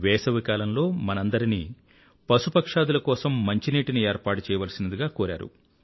వేసవికాలంలో మనందరినీ పశుపక్ష్యాదుల కోసం మంచినీటిని ఏర్పాటు చెయ్యవలసిందని కోరారు